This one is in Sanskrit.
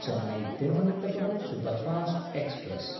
चेन्नै–तिरुवनन्तपुरं सुपरफास्ट् एक्स्प्रेस्